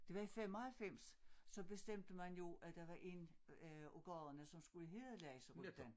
Det var i 95 så bestemte man jo at der var en af gaderne der skulle hedde lakseruten